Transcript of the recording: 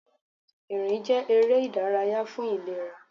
Ìrìn jẹ́ eré ìdárayá fún ìlera.